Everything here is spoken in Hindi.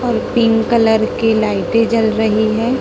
और पिंक कलर की लाइटें जल रही है।